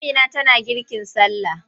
Amina tana girkin sallah.